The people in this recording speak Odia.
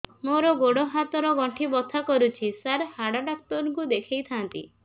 ମୋର ଗୋଡ ହାତ ର ଗଣ୍ଠି ବଥା କରୁଛି ସାର ହାଡ଼ ଡାକ୍ତର ଙ୍କୁ ଦେଖାଇ ଥାନ୍ତି